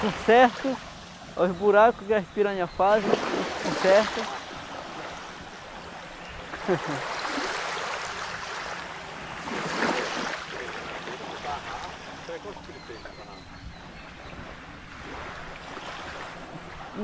Com certo, os buracos que as piranhas fazem, a gente conserta. Ah, está bom. você falou tinha madeira, tinha tarrafo, qual é o tipo de peixei no tarrafo?